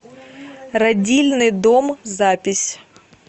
родильный дом запись